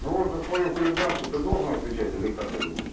ну вот за своё хулиганство ты должен отвечать или как ты думаешь